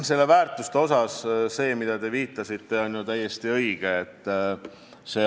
Mis puutub väärtuskonfliktidesse, mida te märkiste, siis see on täiesti õige.